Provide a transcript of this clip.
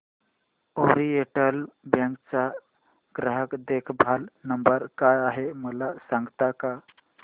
oriental Bank चा ग्राहक देखभाल नंबर काय आहे मला सांगता का